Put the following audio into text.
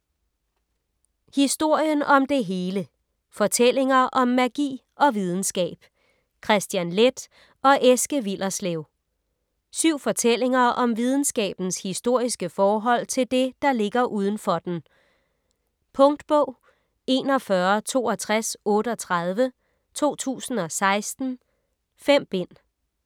Historien om det hele: fortællinger om magi og videnskab Kristian Leth og Eske Willerslev Syv fortællinger om videnskabens historiske forhold til det, der ligger udenfor den. Punktbog 416238 2016. 5 bind.